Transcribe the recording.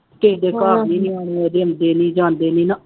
ਕਿਸੇ ਦੇ ਘਰ ਨਿਆਣੇ ਉਹਦੇ ਜਾਂਦੇ ਨਹੀਂ ਨਾ